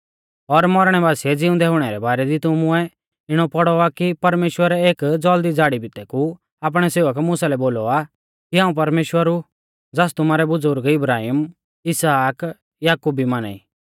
और मौरणै बासिऐ ज़िउंदै हुणै रै बारै दी तुमुऐ इणौ पौड़ौ आ कि परमेश्‍वरै एक ज़ौल़दी झ़ाड़ी भितै कु आपणै सेवक मुसा लै बोलौ आ कि हाऊं परमेश्‍वर ऊ ज़ास तुमारै बुज़ुर्ग इब्राहिम इसहाक याकूब भी माना ई